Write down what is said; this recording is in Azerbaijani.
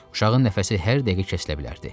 Uşağın nəfəsi hər dəqiqə kəsilə bilərdi.